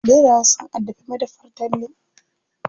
Ɓeraye sun addabi madafar Talle.